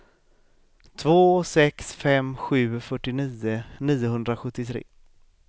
två sex fem sju fyrtionio niohundrasjuttiotre